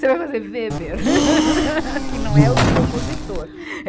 Você vai fazer Weber, que não é o compositor. é